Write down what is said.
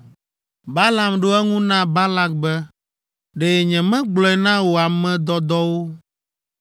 Balaam ɖo eŋu na Balak be, “Ɖe nyemegblɔe na wò ame dɔdɔwo